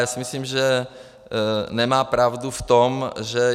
Já si myslím, že nemá pravdu v tom, že...